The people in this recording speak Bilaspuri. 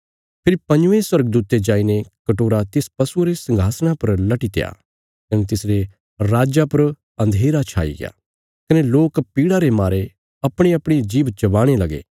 फेरी पंजवें स्वर्गदूते जाईने कटोरा तिस पशुये रे संघासणा पर लटीत्या कने तिसरे राज्जा पर अन्धेरा छाई गया कने लोक पीड़ा रे मारे अपणीअपणी जीभ चबाणे लगे